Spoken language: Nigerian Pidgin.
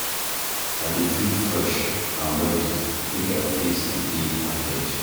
I dey feel fresh and ready make I face di day ahead.